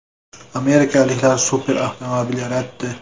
Amerikaliklar super avtomobil yaratdi.